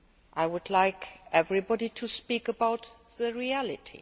I would like everybody to speak about the reality.